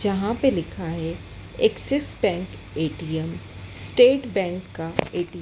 जहां पे लिखा है Axis Bank ATM State Bank का एटीएम --